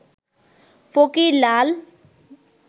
ফকির লাল